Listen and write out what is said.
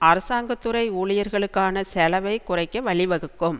அரசாங்க துறை ஊழியர்களுக்கான செலவைக் குறைக்க வழி வகுக்கும்